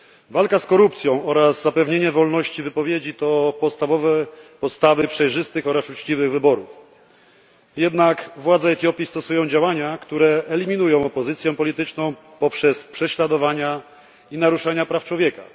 Walka z korupcją oraz zapewnienie wolności wypowiedzi to podstawowe podstawy przejrzystych oraz uczciwych wyborów. Jednak władze Etiopii stosują działania, które eliminują opozycję polityczną poprzez prześladowania i naruszenia praw człowieka.